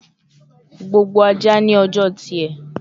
Gbogbo aja ni ọjọ tiẹ